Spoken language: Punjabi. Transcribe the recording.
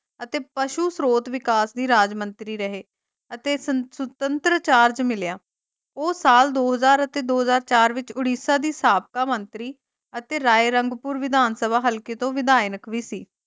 ਅਤੇ ਪਸ਼ੂ ਸ੍ਰੋਤ ਵਿਕਾਸ ਦੀ ਰਾਜ ਮੰਤਰੀ ਰਹੇ ਅਤੇ ਸਤ ਸੁਤੰਤਰ ਚਾਰਜ ਮਿਲਿਆ ਉਹ ਸਾਲ ਦੋ ਹਜ਼ਾਰ ਅਤੇ ਦੋ ਹਜ਼ਾਰ ਚਾਰ ਵਿਚ ਉੜੀਸਾ ਦੇ ਸਾਬਕਾ ਮੰਤਰੀ ਅਤੇ ਰਾਏਰੰਗਪੁਰ ਵਿਧਾਨ ਸਭਾ ਹਲਕੇ ਵਿਧਾਇਕ ਵੀ ਸੀ ।